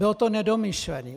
Bylo to nedomyšlené.